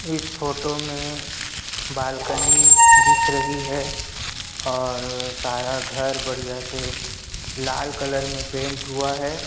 इस फोटो में बालकॉनी दिख रही है और सारा घर बढ़िया से लाल कलर में पैंट हुआ है।